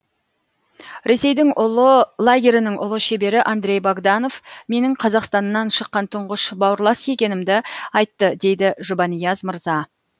ресейдің ұлы лагерінің ұлы шебері андрей богданов менің қазақстаннан шыққан тұңғыш бауырлас екенімді айтты дейді жұбанияз мырза